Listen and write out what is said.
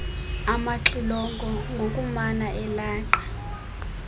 amaxilongo ngokumana elaqa